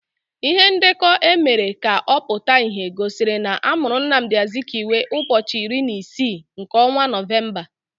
Ihe ndekọ emere ka ọ pụta ìhè gosiri na amụrụ Nnamdi Azikiwe ụbọchị iri na isii nke ọnwa Nọvemba.